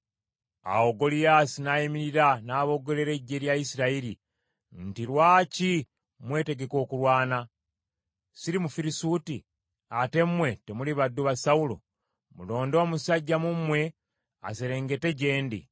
Awo Goliyaasi n’ayimirira n’aboggolera eggye lya Isirayiri nti, “Lwaki mwetegeka okulwana? Siri Mufirisuuti, ate mmwe temuli baddu ba Sawulo? Mulonde omusajja mu mmwe aserengete gye ndi.